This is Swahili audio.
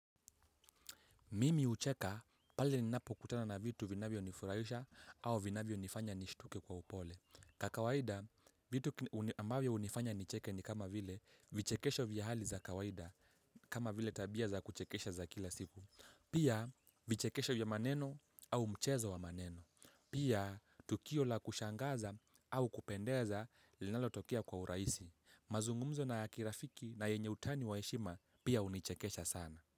Mimi hucheka pale ninapokutana na vitu vinavyonifurahisha au vinavyonifanya nishtuke kwa upole. Kwa kawaida, vitu ambavyo hunifanya nicheke ni kama vile vichekesho vya hali za kawaida kama vile tabia za kuchekesha za kila siku. Pia vichekesho vya maneno au mchezo wa maneno. Pia tukio la kushangaza au kupendeza linalotokea kwa urahisi. Mazungumzo na yakirafiki na yenye utani wa heshima pia hunichekesha sana.